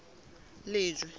lejwe